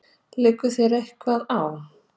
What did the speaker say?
Liggur þér eitthvað á?